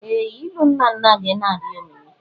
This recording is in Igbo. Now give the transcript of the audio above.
Ee! Ilu nnanna gị na-adị omimi.